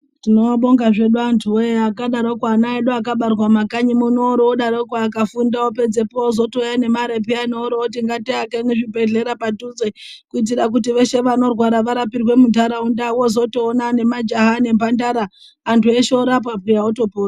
Tinobonga zvedu antu voye akadaroko ana edu akabarwa mumakanyi muno, oro odaroko akafunda apedzepo ozotouya nemarepi, oro oti ngatiake mizvibhedhlera padhuze. Kuitira kuti veshe vanorwara varapirwe muntaraunda vozotoona nemajaha nemhandara, antu eshe orapwa peya otopona.